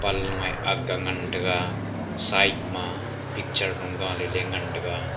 panlung eh akga ngantaga side ma picture lu gaale le ngantaga.